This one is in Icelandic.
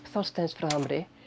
Þorsteins frá Hamri